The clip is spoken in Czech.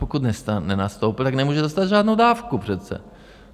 Pokud nenastoupil, tak nemůže dostat žádnou dávku přece.